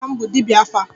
Nwanne nna m bụ dibia 'afa'